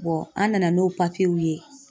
an nana n'o ye.